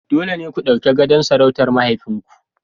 Dole ne ku ɗauki gadon sarautar mahaifinku..